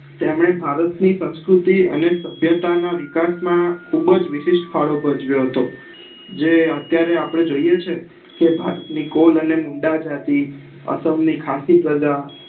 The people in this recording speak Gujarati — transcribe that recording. તેમને ભારત ની સંસ્કુર્તી અને સભ્ત્યા ના વિકાસ માં ખુબ જ વિશીઠ ફાળો ભજવ્યો હતો જે અત્યારે આપડે જોઈએ છે કે ભારત ની કોલ અને મુડા જાતિ અસમ ની ખાસી પ્રજા